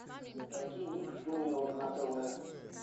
найди ник джуниор на тв